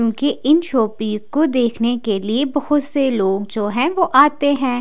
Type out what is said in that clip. उनके इन शोपीस को देखने के लिए बहोत से लोग जो है आते है।